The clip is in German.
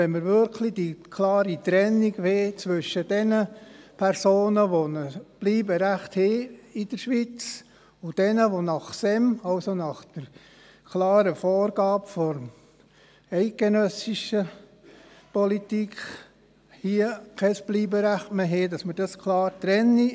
Wenn wir wirklich die klare Trennung zwischen denjenigen Personen wollen, die ein Bleiberecht in der Schweiz haben, und jenen, die gemäss dem Staatssekretariat für Migration (SEM), also nach der klaren Vorgabe der eidgenössischen Politik, hier kein Bleiberecht mehr haben, müssen wir dies hier klar trennen.